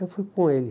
Eu fui com ele.